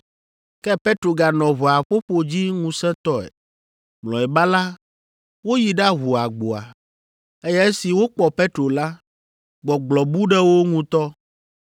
Ke Petro ganɔ ʋɔa ƒoƒo dzi ŋusẽtɔe. Mlɔeba la, woyi ɖaʋu agboa, eye esi wokpɔ Petro la, gbɔgblɔ bu ɖe wo ŋutɔ.